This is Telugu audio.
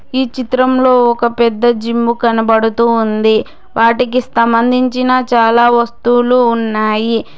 ఈ చిత్రంలో ఒక పెద్ద జిమ్ము కనబడుతూ ఉంది వాటికి స్థంబంధించిన చాలా వస్తువులు ఉన్నాయి.